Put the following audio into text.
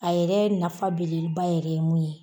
A yɛrɛ nafa belebeleba yɛrɛ ye mun ye.